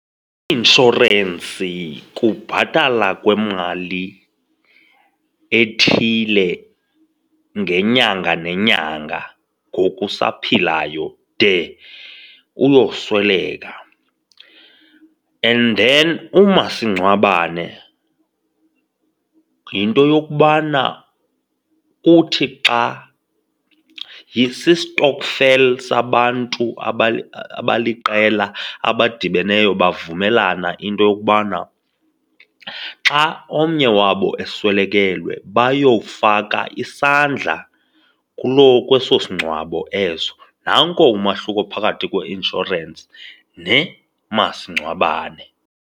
Inshorensi kubhatala kwemali ethile ngenyanga nenyanga ngoku usaphilayo de uyosweleka and then umasingcwabane yinto yokubana uthi xa si-stokvel sabantu abaliqela abadibeneyo bavumelana into yokubana xa omnye wabo eswelekelwe, bayofaka isandla kuloo, kweso isingcwabo eso. Nanko umahluko phakathi kweinsurance nemasingcwabane.